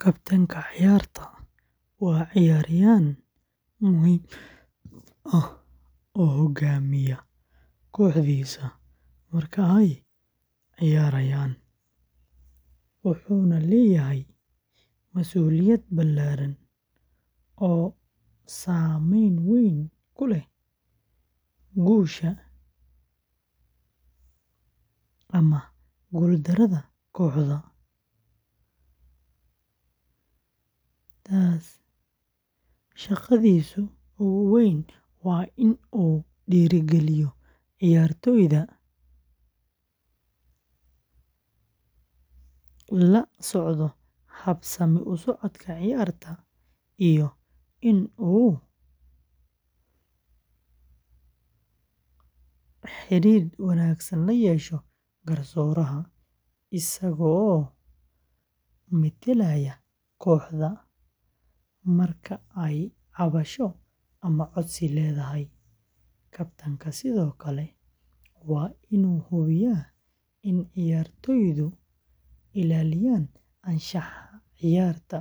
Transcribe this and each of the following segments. Kabtanka ciyaarta waa ciyaaryahan muhiim ah oo hoggaaminaya kooxdiisa marka ay ciyaarayaan, wuxuuna leeyahay masuuliyad ballaaran oo saameyn weyn ku leh guusha ama guuldarrada kooxda. Shaqadiisa ugu weyn waa in uu dhiirrigeliyo ciyaartoyda, la socdo habsami u socodka ciyaarta, iyo in uu xidhiidh wanaagsan la yeesho garsooraha, isagoo metelaya kooxda marka ay cabasho ama codsi leedahay. Kabtanku sidoo kale waa in uu hubiyaa in ciyaartoydu ilaaliyaan anshaxa ciyaarta,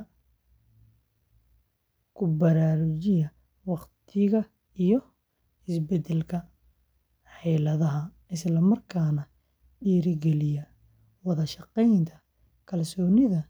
ku baraarujiyaa waqtiga iyo isbeddelka xeeladaha, isla markaana dhiirrigeliyaa wada-shaqeyn, kalsooni, iyo niyad-sami kooxeed.